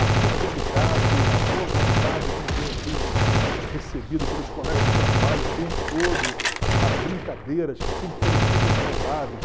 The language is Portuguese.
A cordialidade, a boa vontade com quem eu fui recebido pelos colegas de trabalho o tempo todo, as brincadeiras que sempre foram super saudáveis.